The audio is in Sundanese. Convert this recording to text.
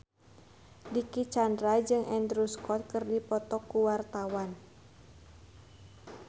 Dicky Chandra jeung Andrew Scott keur dipoto ku wartawan